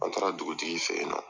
An taara dugutigi fɛ yen nɔ